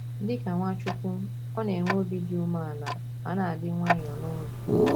Dị ka Nwachukwu, ọ na - enwe obi dị umeala ma na - adị nwayọọ n’obi.